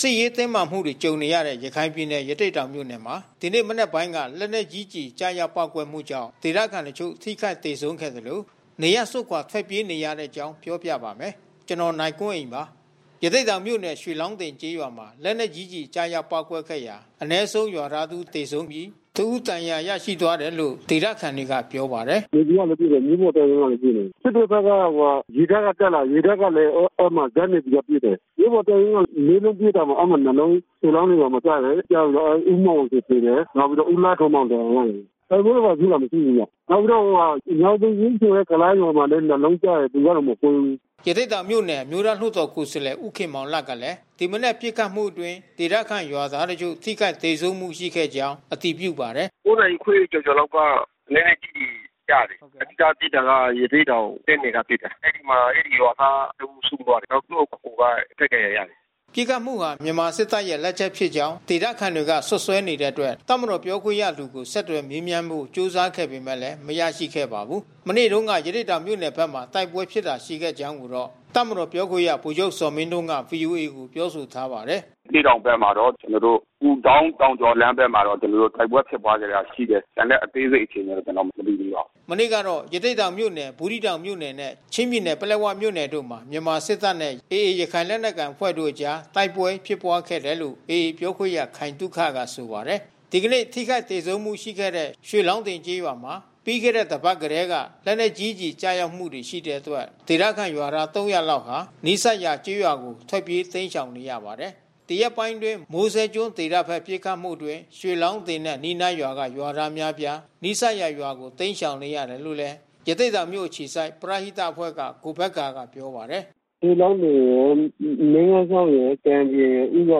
စစ်ရေးတင်းမာမှုတွေ ကြုံနေရတဲ့ ရခိုင်ပြည်နယ်၊ ရသေ့တောင်မြို့နယ်မှာ ဒီနေ့ မနက်ပိုင်းက လက်နက်ကြီးကျည် ကျရောက် ပေါက်ကွဲမှုကြောင့် ဒေသခံတချို့ ထိခိုက်သေဆုံးခဲ့သလို နေရပ်စွန့်ခွာ ထွက်ပြေးနေရတဲ့အကြောင်း ပြောပြပါမယ်။ ဗွီအိုအေမြန်မာပိုင်း သတင်းထောက် ကိုနိုင်ကွန်းအိန်က တင်ဆက်ပေးပါမယ်။ ရသေ့တောင်မြို့နယ် ရွှေလောင်းတင်ကျေးရွာမှာ လက်နက်ကြီးကျည် ကျရောက်ပေါက်ကွဲခဲ့ရာက အနည်းဆုံး ရွာသား တစ် ဦးသေဆုံးပြီး၊ တစ် ဦး ဒဏ်ရာသွားတယ်လို့ ဒေသခံတွေက ပြောပါတယ်။ “Navy ကလည်း ပစ်တယ်။ မြို့ပေါ်တပ်ရင်းကလည်း ပစ်နေတယ်။ စစ်တွေဘက်က ရေတပ်ကလည်း တက်လာတယ်။ ရေတပ်ကလည်း အဲဒီမှာ ဇက် Navy ကပစ်တယ်။ မြို့ပေါ်တပ်ရင်းက ၄ လုံး ပစ်တာမှာ အဲဒီမှာ ၂ လုံး ရွှေလောင်းတင်ရွာမှာ ကျတယ်။ ကျပြီးတော့ ဦးမောင်ချေသေတယ်။ နောက်ပြီးတော့ ဦးလှထွန်းမောင်ဒဏ်ရာ ရတယ်။ တိုက်ပွဲတွေ ဘာတွေဖြစ်တာ မရှိဘူးဗျ။ နောက်ပြီးတော့ ညောင်ပင်ကြီးဆိုတဲ့ ကုလားရွာမှာ ၂ လုံးကျတယ်။ သူကတော့ မကွဲဘူး။” ရသေ့တောင်မြို့နယ် အမျိုးသားလွှတ်တော်ကိုယ်စားလှယ် ဦးခင်မောင်လတ်ကလဲ ဒီမနက်ပစ်ခတ်မှုအတွင်း ဒေသခံရွာသားတချို့ ထိခိုက်သေဆုံးမှု ရှိခဲ့ကြောင်းအတည်ပြုပါတယ်။ “၉ နာရီခွဲကျော်ကျော်လောက်က လက်နက်ကျည်ကျတယ်။ စပစ်တာက ရသေ့တောင်တပ်နယ်ကပစ်တာ။ အဲဒီမှာ အဲဒီရွာသားတဦးဆုံးသွားတယ်။ နောက်သူ့အကိုက ထိခိုက်ဒဏ်ရာရတယ်။” ပစ်ခတ်မှုဟာ မြန်မာစစ်တပ်ရဲ့ လက်ချက်ဖြစ်ကြောင်း ဒေသခံတွေက စွပ်စွဲနေတဲ့အတွက် တပ်မတော် ပြောခွင့်ရသူကို ဆက်သွယ်မေးမြန်းဖို့ ကြိုးစားခဲ့ပေမဲ့ မရခဲ့ပါဘူး။ မနေ့တုန်းက ရသေ့တောင်မြို့နယ်ဘက်မှာ တိုက်ပွဲဖြစ်ပွားတာ ရှိခဲ့ကြောင်းကိုတော့ တပ်မတော်ပြောခွင့်ရ ဗိုလ်ချုပ်ဇော်မင်းထွန်းက ဗွီအိုအေကိုပြောဆိုထားပါတယ်။ “ရသေ့တောင်ဘက်မှာတော့ ဥဒေါင်းတောင်ကျော်လမ်းဘက်မှာတော့ ကျနော်တို့ တိုက်ပွဲဖြစ်ပွါးခဲ့တာရှိတယ်။ ကျန်တဲ့ အသေးစိတ် အခြေအနေကို ကျနော် မသိဘူးခင်ဗျ။” မနေ့က ရသေ့တောင်မြို့နယ် ဘူးသီးတောင်မြို့နယ်နဲ့ ချင်းပြည်နယ် ပလက်ဝမြို့နယ်တို့မှာ မြန်မာစစ်တပ်နဲ့ AA ရခိုင်လက်နက်ကိုင်အဖွဲ့တို့အကြား တိုက်ပွဲဖြစ်ပွါးခဲ့တယ်လို့ AA ပြောခွင့်ရခိုင်သုခက ဆိုပါတယ်။ ဒီကနေ့ ထိခိုက်သေဆုံးမှုတွေ ရှိခဲ့တဲ့ ရွှေလောင်းတင်ကျေးရွာမှာ ပြီးခဲ့တဲ့ တစ်ပတ်လောက်ကတည်းက လက်နက်ကြီးကျည် ကျရောက်တာတွေ ရှိနေတာကြောင့် ဒေသခံရွာသား ၃၀၀ လောက်ဟာ နီးစပ်ရာ ကျေးရွာတွေကို ထွက်ပြေးတိမ်းရှောင် နေရပါတယ်။ ဒီရက်ပိုင်းအတွင်း မိုးစဲကျွန်းဒေသဘက်ပစ်ခတ်မှုအတွင်း ရွှေလောင်းတင်နဲ့ အနီးနားရွာကရွာသားအများအပြား နီးစပ်ရာရွာတွေကို တိမ်းရှောင်နေရတယ်လို့လည်း ရသေ့တောင်မြို့အခြေစိုက် ပရဟိတအဖွဲ့က ကိုဘက္ကာကပြောပါ တယ်။ “ရွှေလောင်းတင်ရယ်၊ မြင်းဂန်ချောင်းရယ်၊ ကံပြင်ရယ် ဦးဂါ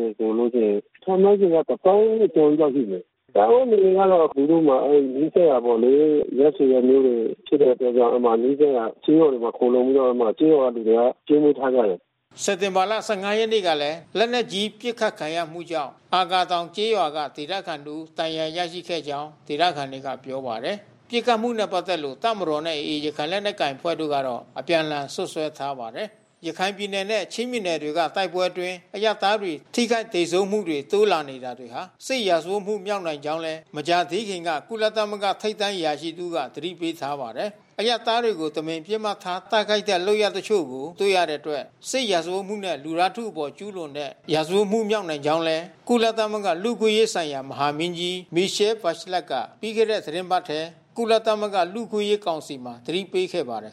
ရယ်ဆိုလို့ရှိရင် ခန့်မှန်းခြေတသောင်းကျော်လောက်ရှိမယ်။ စားဝတ်နေရေးမှာ သူတို့မှာ အဲဒီနီးစပ်ရာပေါ့လေ။ ရပ်ဆွေရပ်မျိုးတွေဖြစ်တဲ့အတွက်ကြောင့် နီးစပ်ရာကျေးရွာတွေမှာ ခိုလှုံပြီးတော့ အဲဒီမှာကျေးရွာလူတွေက ကျွေးမွေးထားခဲ့တယ်။” စက်တင်ဘာလ ၁၅ ရက်နေ့ကလည်း လက်နက်ကြီး ပစ်ခတ်ခံရမှုကြောင့် အာကာတောင်ကျေးရွာက ဒေသခံတစ်ဦး ဒဏ်ရာရခဲ့ကြောင်း ဒေသခံတွေက ပြောပါတယ်။ ပစ်ခတ်မှုနဲ့ ပတ်သက်လို့ တပ်မတော်နဲ့ AA ရခိုင်လက်နက်ကိုင်အဖွဲ့တို့ကတော့ အပြန်အလှန်စွပ်စွဲထားကြပါတယ်။ ရခိုင်ပြည်နယ်နဲ့ ချင်းပြည်နယ်တွေက တိုက်ပွဲတွေအတွင်း အရပ်သားတွေ ထိခိုက်သေဆုံးမှုတွေ တိုးလာနေတာတွေဟာ စစ်ရာဇဝတ်မှု မြောက်နိုင်ကြောင်းလည်း မကြာသေးခင်ကပဲ ကုလသမဂ္ဂ ထိပ်တန်းအရာရှိတဦးက သတိပေးထားပါတယ်။ အရပ်သားတွေကို တမင်ပစ်မှတ်ထား တိုက်ခိုက်တဲ့ လုပ်ရပ်တချို့ကို တွေ့ရတဲ့အတွက် စစ်ရာဇဝတ်မှုနဲ့ လူသားထုအပေါ်ကျူးလွန်တဲ့ ရာဇဝတ်မှု မြောက်နိုင်ကြောင်းလည်း ကုလသမဂ္ဂ လူ့အခွင့်အရေးဆိုင်ရာ မဟာမင်းကြီး Michelle Bachelet က ပြီးခဲ့တဲ့ သီတင်းပတ်ထဲ ကုလသမဂ္ဂ လူ့အခွင့်အရေး ကောင်စီမှာ သတိပေးခဲ့ပါတယ်